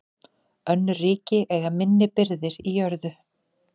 Önnur ríki eiga minni birgðir í jörðu.